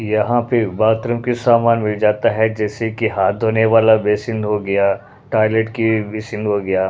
यहाँ पे बाथरूम के सामान मिल जाता है जैसे कि हाथ धोने वाला बेसिन हो गया टॉयलेट की बेसिन हो गया।